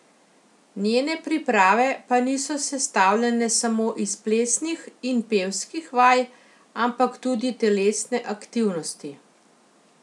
Njene priprave pa niso sestavljene samo iz plesnih in pevskih vaj, ampak tudi telesne aktivnosti.